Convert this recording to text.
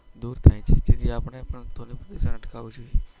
આપડે પણ અટકાવશે.